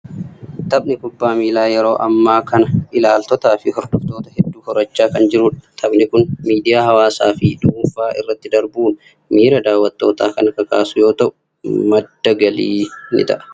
Taphni kubbaa miilaa yeroo ammaa kana ilaaltotaa fi hordoftoota hedduu horachaa kan jirudha. Taphni kun miidiyaa hawaasaa fi dhuunfaa irratti darbuun miira daawwattootaa kan kakaasu yoo ta'u, madda galii ta'a.